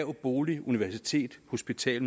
universitet hospital